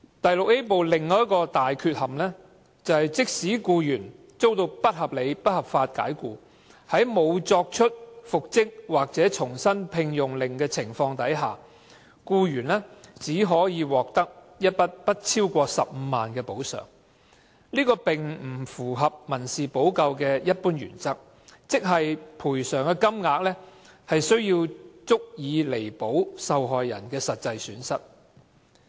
《條例》第 VIA 部的另一大缺憾，是即使僱員遭到不合理及不合法解僱，在沒有復職或重新聘用令的情況下，僱員只可獲得一筆不超過15萬元的補償，這並不符合民事保障的一般原則，即賠償金額須足以彌補受害人的實際損失。